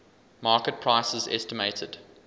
market prices estimated